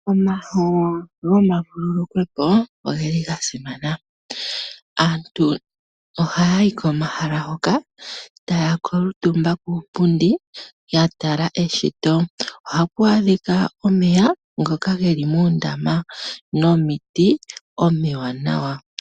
Omahala gomavululukilo oga simana. Aantu ohaya yi komahala hoka taya kuutumba kuupundi ya tala eshito. Ohapu adhika omeya ngoka ge li muundama nomiti omiwanawa.